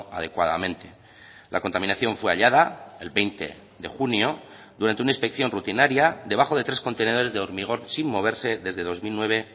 adecuadamente la contaminación fue hallada el veinte de junio durante una inspección rutinaria debajo de tres contenedores de hormigón sin moverse desde dos mil nueve